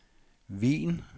Wien